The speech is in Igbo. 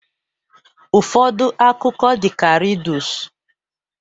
Ụfọdụ akụkọ dị ka rịdus